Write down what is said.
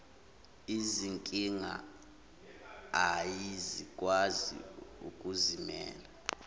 izinkinga ayikwazi ukuzimela